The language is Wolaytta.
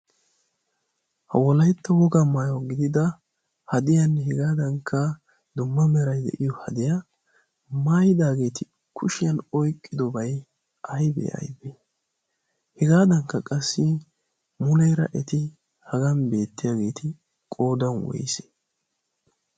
ha wolaytto woga maaya gidida hadeyanne hegaadankka dumma merai de'iyo hadeyaa maayidaageeti kushiyan oyqqidobai aybee aibee hegaadankka qassi muneera eti hagan beettiyaageeti qoodan woysee?